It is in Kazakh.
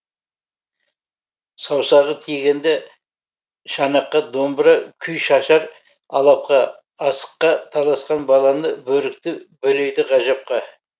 саусағы тигенде шанаққа домбыра күй шашар алапқа асыққа таласқан баланы бөрікті бөлейді ғажапқа